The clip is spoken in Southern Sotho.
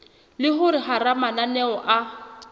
le hore hara mananeo a